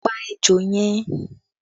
Pa ejò yẹn!